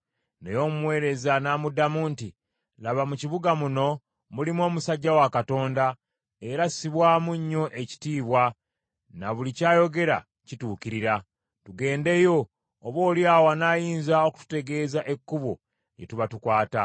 Naye omuweereza n’amuddamu nti, “Laba, mu kibuga muno mulimu omusajja wa Katonda, era assibwamu nnyo ekitiibwa, na buli ky’ayogera kituukirira. Tugendeyo, oboolyawo anaayinza okututegeeza ekkubo lye tuba tukwata.”